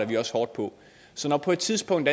vi også hårdt på så på et tidspunkt